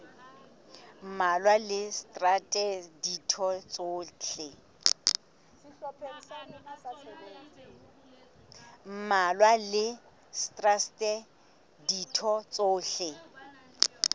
mmalwa le traste ditho tsohle